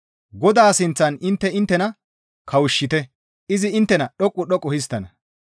Godaa sinththan intte inttena kawushshite; izi inttena dhoqqu dhoqqu histtana.